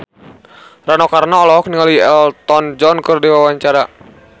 Rano Karno olohok ningali Elton John keur diwawancara